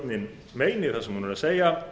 forseti vill biðja